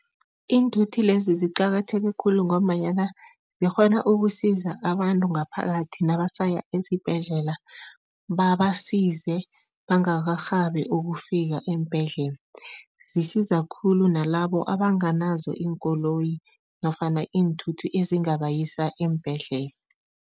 Iinthuthi lezi ziqakatheke khulu ngombanyana zikghona ukusiza abantu ngaphakathi nabasaya esibhedlela, babasize bangakarhabi ukufika eembhedlela. Zisiza khulu nalabo abanganazo iinkoloyi nofana iinthuthi ezingabayisa eembhedlela.